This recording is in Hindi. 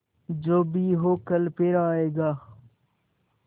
जो भी हो कल फिर आएगा